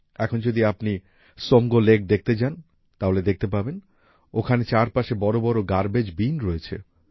এখন যদি আপনি ত্সমগো সোমগো লেক দেখতে যান তাহলে দেখতে পাবেন ওখানে চারপাশে বড় বড় গার্বেজ বিন্স রয়েছে